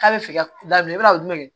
K'a bɛ fɛ ka daminɛ i b'a dun dɛ